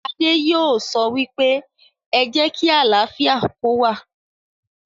Adé yóò sọ wípé, 'Ẹ jẹ́ kí àlàáfíà kó wà'